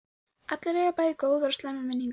Allir eiga bæði góðar og slæmar minningar.